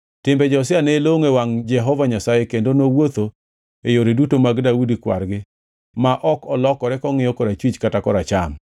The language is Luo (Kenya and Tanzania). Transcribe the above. Timbe Josia ne longʼo e wangʼ Jehova Nyasaye kendo nowuotho e yore duto mag Daudi kwar-gi ma ok olokore kongʼiyo korachwich kata koracham.